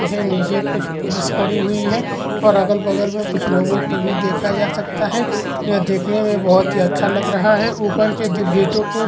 यह नीचे कुछ पुलिस खड़ी हुई है और अगल - बगल में कुछ लोगों को भी देखा जा सकता है। यह देखने में बहोत ही अच्छा लग रहा है। ऊपर के दो गेटों को --